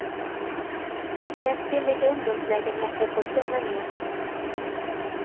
Deras billiga ungdomslägenheter får tummen ned.